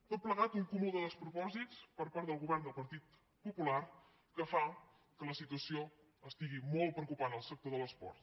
tot plegat un cúmul de despropòsits per part del govern del partit popular que fa que la situació estigui molt preocupant el sector de l’esport